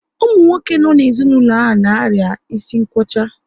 Ụmụ nwoke no n'ezinaulo ha na-aria isi nkwocha